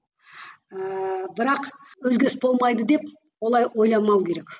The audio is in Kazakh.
ыыы бірақ өзгеріс болмайды деп олай ойламау керек